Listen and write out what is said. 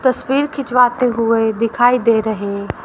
तस्वीर खिंचवाते हुए दिखाई दे रहे--